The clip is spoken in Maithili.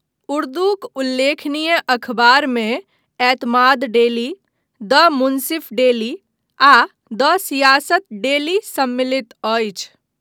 उर्दूक उल्लेखनीय अखबारमे Etemaad daily, the Munsif daily, आ द सियासत डेली सम्मिलित अछि।